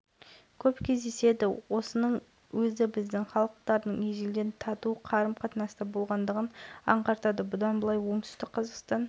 өзара тиімді ынтымақтастық мақсатындағы бірлескен жобалардың жүзеге асу барысын талқылады бұл туралы облыстың баспасөз қызметі